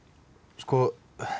sko